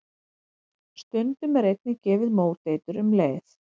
Stundum er einnig gefið móteitur um leið.